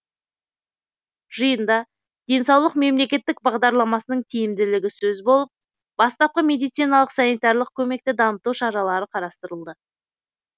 жиында денсаулық мемлекеттік бағдарламасының тиімділігі сөз болып бастапқы медициналық санитарлық көмекті дамыту шаралары қарастырылды